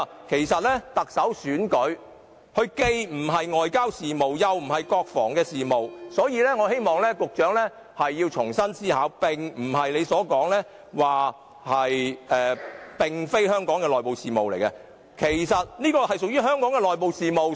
其實，特首選舉既非外交事務，亦非國防事務，所以我希望局長重新思考，情況並非一如他所說，這不是香港的內部事務：這件事其實屬於香港的內部事務。